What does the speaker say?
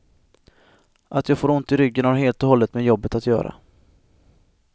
Att jag får ont i ryggen har helt och hållet med jobbet att göra.